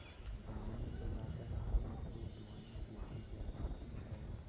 दामन फैलाकर हामिद को दुआएँ देती जाती थी और